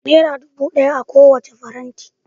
Naira dubu daya akan kowacce faranti